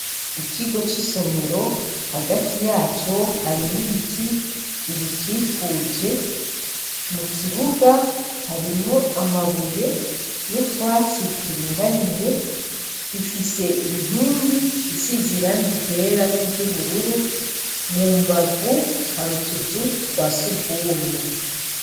Ikigo cisomero Hagati yaco harimwo ibiti bigikikuje mukibuga harimwo amabuye nutwatsi turinganiye gifise inkingi isize irangi ryera niryubururu mumbavu hari utuzu twasugumwe.